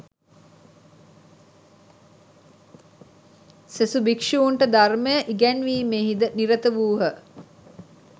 සෙසු භික්‍ෂූන්ට ධර්මය ඉගැන්වීමෙහි ද නිරත වූහ